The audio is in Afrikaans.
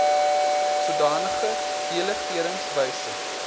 sodanige delegerings wysig